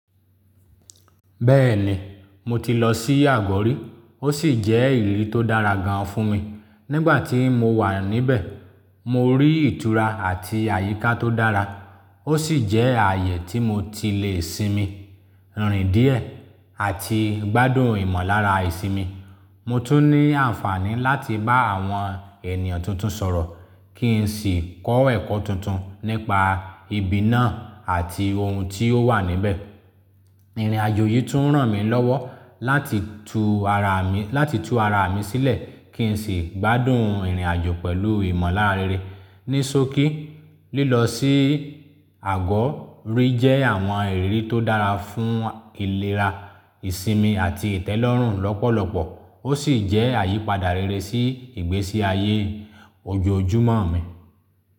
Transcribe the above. Bẹ́ẹ̀ni, mo ti lọ sí agọ́ rí, ó sì jẹ́ ìriri tó dára gan-an fún mi. Nígbà tí mo wà níbẹ̀, mo rí ìtura àti àyíká tó dára, ó sì jẹ́ ààyè tí mo ti lè sinmi, rìn díẹ̀, àti gbádùn ìmọ̀lára ìsinmi. Mo tún ní àǹfààní láti bá àwọn ènìyàn tuntun sọ̀rọ̀ kí n sì kọ́ ẹ̀kọ́ tuntun nípa ibi náà àti ohun tí ó wà níbẹ̀. Ìrìnàjò yìí tún ràn mí lọ́wọ́ láti tu ara mi, láti tu ara mi sílẹ̀ kí n sì gbádùn ìrìnàjò pẹ̀lú ìmọ̀lára rere. Ní sókí, lílọ sí Àgọ́ rí jẹ́ àwọn ìrírí tó dára fún ìlera, ìsinmi, àti ìtẹ́lọ́rùn lọ́pọ̀lọpọ̀. Ó sì jẹ́ àyípadà rere sí ìgbésí ayé ojoojúmọ́ mi.